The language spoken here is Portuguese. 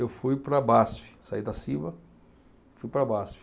Eu fui para a Basfe, saí da Ciba, fui para a Basfe.